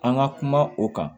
An ka kuma o kan